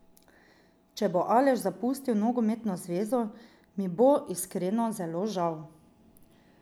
Če bo Aleš zapustil nogometno zvezo, mi bo, iskreno, zelo žal.